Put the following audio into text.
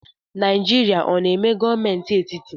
Naijirịa ọ na-eme gọọmenti etiti?